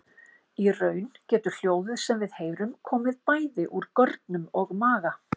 Í raun getur hljóðið sem við heyrum komið bæði úr görnum og maga.